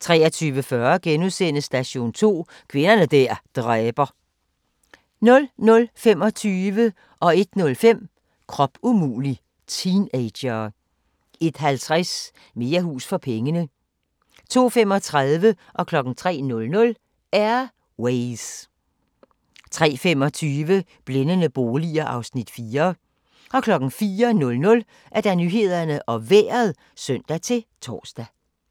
23:40: Station 2: Kvinder der dræber * 00:25: Krop umulig – teenagere 01:05: Krop umulig – teenagere 01:50: Mere hus for pengene 02:35: Air Ways 03:00: Air Ways 03:25: Blændende boliger (Afs. 4) 04:00: Nyhederne og Vejret (søn-tor)